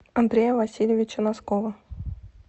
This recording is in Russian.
андрея васильевича носкова